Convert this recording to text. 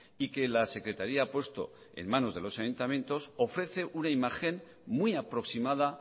y que la secretaría ha puesto en manos de los ayuntamientos ofrece una imagen muy aproximada